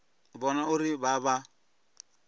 u vhona uri vha vha